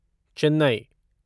Chennai